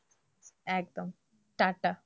একদম টাটা